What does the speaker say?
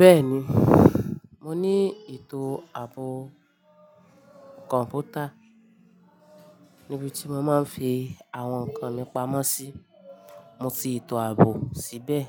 Bẹ́ẹ̀ni, mo ní etò ààbò kọ̀ǹpútà níbi tí mo máa ń fi àwọn nǹkan mi pamọ́ sí. Mo ti ìtò ààbò síbẹ̀.